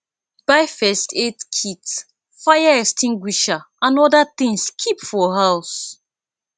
buy first aid kit fire extinguisher and oda things keep for house